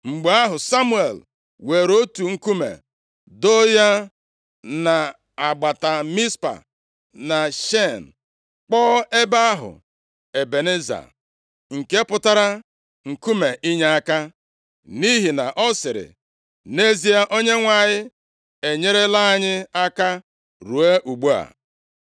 Mgbe ahụ, Samuel weere otu nkume doo ya nʼagbata Mizpa na Shen, kpọọ ebe ahụ, Ebeneza, nke pụtara, “Nkume inyeaka,” nʼihi na ọ sịrị, “Nʼezie, Onyenwe anyị enyerela anyị aka ruo ugbu a.”